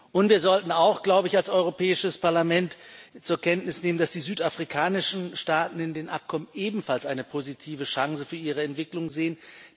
Und wir sollten, glaube ich, als Europäisches Parlament auch zur Kenntnis nehmen, dass die südafrikanischen Staaten in dem Abkommen ebenfalls eine positive Chance für ihre Entwicklung sehen.